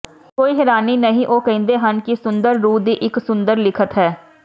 ਕੋਈ ਹੈਰਾਨੀ ਨਹੀਂ ਉਹ ਕਹਿੰਦੇ ਹਨ ਕਿ ਸੁੰਦਰ ਰੂਹ ਦੀ ਇਕ ਸੁੰਦਰ ਲਿਖਤ ਹੈ